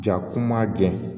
Ja kuma gɛlɛn